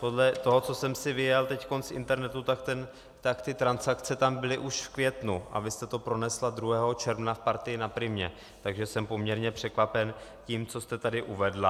Podle toho, co jsem si vyjel teď z internetu, tak ty transakce tam byly už v květnu, a vy jste to pronesla 2. června v Partii na Primě, takže jsem poměrně překvapen tím, co jste tady uvedla.